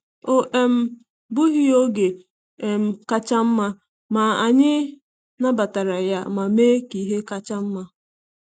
Ọ um bụghị oge um kacha nma, ma anyị nabatara ya ma mee ihe kacha nma.